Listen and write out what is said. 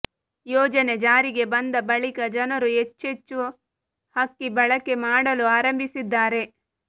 ಯೋಜನೆ ಜಾರಿಗೆ ಬಂದ ಬಳಿಕ ಜನರು ಹೆಚ್ಚೆಚ್ಚುಚ ಅಕ್ಕಿ ಬಳಕೆ ಮಾಡಲು ಆರಂಭಿಸಿದ್ದಾರೆ